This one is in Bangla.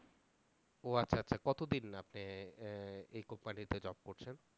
ও আচ্ছা আচ্ছা কতদিন আপনি এই কোম্পানিতে জব করছেন?